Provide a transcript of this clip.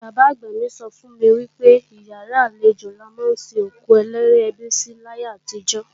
Bàbá-àgbà mi sọ fún mi wípé ìyàrá àlejò la ma ń sin òkú olóríẹbí sí láyé àtijó.